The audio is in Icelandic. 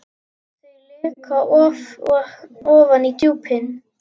Þau leka ofan í djúpin.